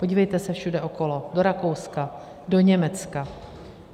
Podívejte se všude okolo - do Rakouska, do Německa.